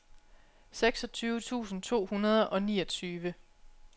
seksogtyve tusind to hundrede og niogtyve